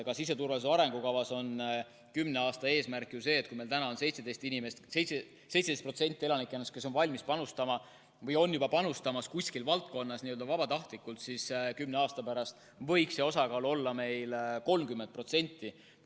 Ka siseturvalisuse arengukavas on kümne aasta eesmärk ju see, et kui praegu on 17% elanikkonnast valmis panustama või on juba panustamas kuskil valdkonnas vabatahtlikult, siis kümne aasta pärast võiks see osakaal olla 30%.